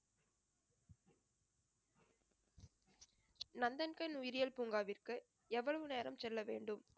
நந்தன்கண் உயிரியல் பூங்காவிற்கு எவ்வளவு நேரம் செல்ல வேண்டும்